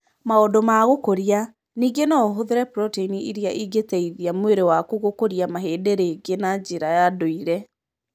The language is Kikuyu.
Maũndu ma gũkũria:ningĩ no ũhũthĩre proteini iria ingĩteithia mwĩrĩ waku gũkũria mahĩndĩ rĩngĩ na njĩra ya ndũire.